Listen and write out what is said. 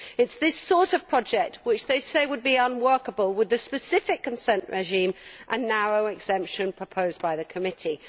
It is this sort of project which they say would be unworkable with the specific consent regime and narrow exemption proposed by the Committee.